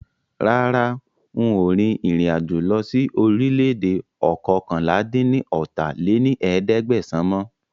Rárá, ń ó rìn ìrìn-àjò lọ síí orílè-èdè oókànlá-dín-ní-ọ́ta lé ní ẹ̀ẹ́dẹ́gbẹ́sán mọ